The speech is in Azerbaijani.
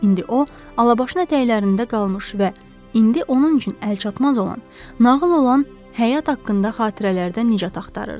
İndi o, alabaşına tələklərində qalmış və indi onun üçün əlçatmaz olan, nağıl olan həyat haqqında xatirələrdən nicat axtarırdı.